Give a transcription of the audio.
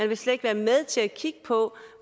vil slet ikke være med til at kigge på